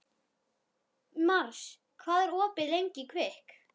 Mars, hvað er opið lengi í Kvikk?